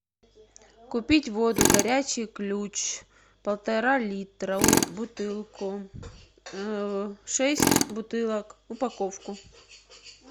купить воду горячий ключ полтора литра бутылку шесть бутылок упаковку